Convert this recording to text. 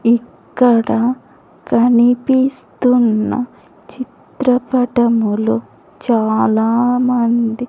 ఇక్కడ కనిపిస్తున్న చిత్రపటములో చాలా మంది--